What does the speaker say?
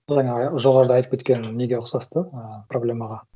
бағана жоғарыда айтып кеткен неге ұқсас та ыыы проблемаға